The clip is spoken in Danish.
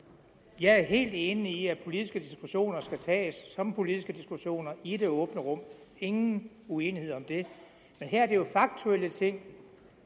jeg er helt enig i at politiske diskussioner skal tages som politiske diskussioner i det åbne rum ingen uenighed om det men her er det jo faktuelle ting